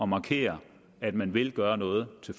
markere at man vil gøre noget til